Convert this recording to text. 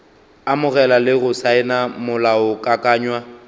amogela le go saena molaokakanywa